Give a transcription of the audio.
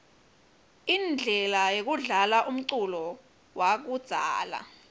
inblela yekudlala umculo yakudzala